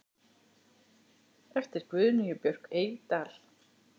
eftir Guðnýju Björk Eydal